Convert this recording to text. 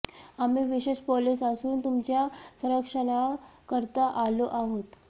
आम्ही विशेष पोलिस असून तुमच्या संरक्षणाकरता आलो आहोत